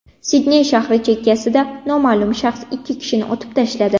Sidney shahri chekkasida noma’lum shaxs ikki kishini otib tashladi.